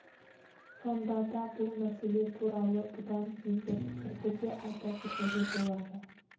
сонда да бұл мәселе туралы бұдан кейінгі пікірді де айта кетуге болады